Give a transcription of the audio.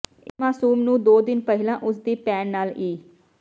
ਇਸ ਮਾਸੂਮ ਨੂੰ ਦੋ ਦਿਨ ਪਹਿਲਾਂ ਉਸ ਦੀ ਭੈਣ ਨਾਲ ਇ